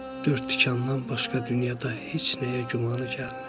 Dörd tikandan başqa dünyada heç nəyə gümanı gəlmir.